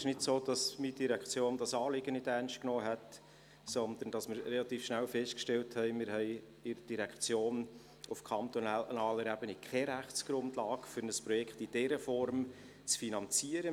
Es ist nicht so, dass meine Direktion dieses Anliegen nicht ernst genommen hat, sondern wir haben relativ schnell festgestellt, dass wir in der Direktion auf kantonaler Ebene keine Rechtsgrundlage haben, um ein Projekt in dieser Form zu finanzieren.